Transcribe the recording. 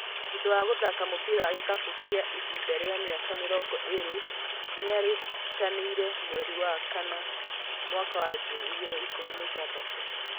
Thutha wa gũthaka mũbira wa ikabu kwa ihinda rĩa mĩaka mĩrongo ĩrĩ nĩaritaĩĩte mweri wa kana mwaka wa ngiri igĩrĩ ikũmi na ithathatũ.